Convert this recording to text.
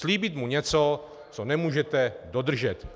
Slíbit mu něco, co nemůžete dodržet.